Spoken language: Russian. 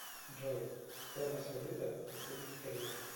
джой стоимость валюта республики корея